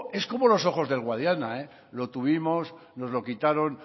es como los ojos del guadiana lo tuvimos nos lo quitaron